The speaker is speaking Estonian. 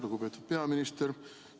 Lugupeetud peaminister!